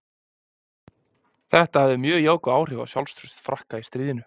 Þetta hafði mjög jákvæð áhrif á sjálfstraust Frakka í stríðinu.